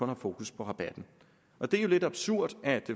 har fokus på rabatten det er jo lidt absurd at